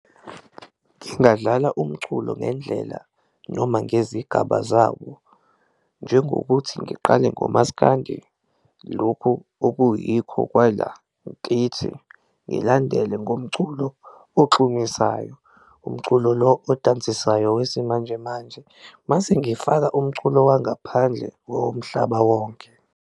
Ngingadlala umculo ngendlela noma ngezigaba zawo njengokuthi ngiqale ngomaskandi lokhu okuyikho kwala kithi, ngilandele ngomculo ogxumisayo, umculo lo odansisayo wesimanjemanje, mase ngifaka umculo wangaphandle womhlaba wonke.